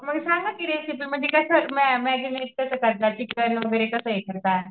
मग सांगा कि रेसिपी म्हणजे कस